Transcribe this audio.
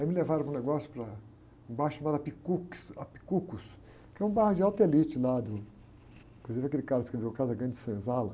Aí me levaram para um negócio, para um bar chamado,, que é um bar de alta elite lá do... Inclusive aquele cara que escreveu Casa Grande e Senzala.